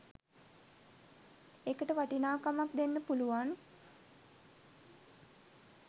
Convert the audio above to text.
ඒකට වටිනාකමක් දෙන්න පුලුවන්